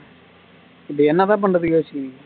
இப்போ என்னதான் பண்ணறது யோசி